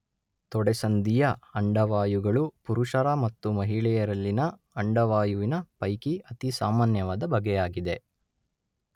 ತೊಡೆಸಂದಿಯ ಅಂಡವಾಯುಗಳು ಪುರುಷರ ಮತ್ತು ಮಹಿಳೆಯರಲ್ಲಿನ ಅಂಡವಾಯುವಿನ ಪೈಕಿ ಅತಿಸಾಮಾನ್ಯವಾದ ಬಗೆಯಾಗಿದೆ.